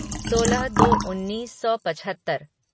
सोलह दो उन्नीस सौ पचहत्तर